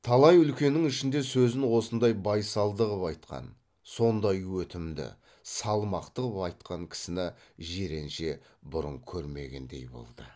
талай үлкеннің ішінде сөзін осындай байсалды қып айтқан сондай өтімді салмақты қып айтқан кісіні жиренше бұрын көрмегендей болды